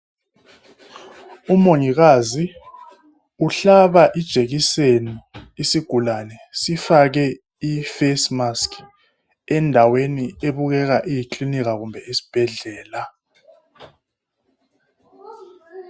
Umongikazi uhlaba ijekiseni isigulane sifake i face mask endaweni ebukeka iyi klinika kumbe isbhedlela.